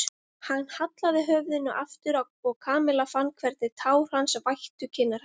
Hann hallaði höfðinu aftur og Kamilla fann hvernig tár hans vættu kinnar hennar.